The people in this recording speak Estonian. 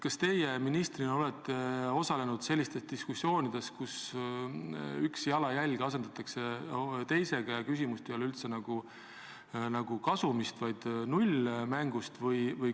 Kas teie ministrina olete osalenud sellistes diskussioonides, kus üks jalajälg asendatakse teisega ja küsimus ei ole nagu kasumis, vaid nullmängus?